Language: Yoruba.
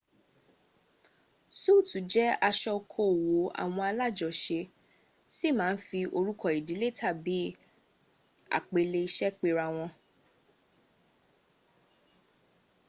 súùtù jẹ́ aṣọ okoòwò àwọn alájọse sì ma ń fi orúkọ ìdílé tàbí àpèlé iṣẹ́ perawọn